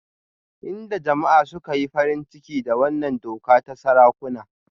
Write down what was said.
Inda jama'a suka yi farin ciki da wannan doka ta sarakuna